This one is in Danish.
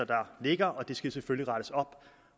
der ligger og det skal der selvfølgelig rettes op